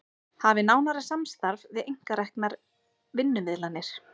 Hafi nánara samstarf við einkareknar vinnumiðlanir